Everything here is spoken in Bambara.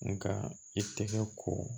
Nka i tɛgɛ ko